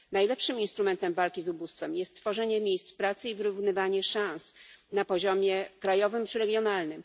Najlepszym instrumentem walki z ubóstwem jest tworzenie miejsc pracy i wyrównywanie szans na poziomie krajowym czy regionalnym.